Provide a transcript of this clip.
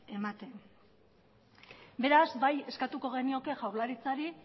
ematen beraz bai eskatuko genioke jaurlaritzari